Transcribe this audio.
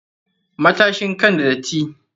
Matashin kai n da dattai.